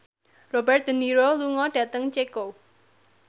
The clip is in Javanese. Robert de Niro lunga dhateng Ceko